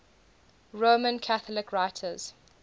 roman catholic writers